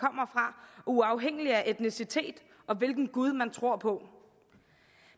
uafhængigt af etnicitet og hvilken gud man tror på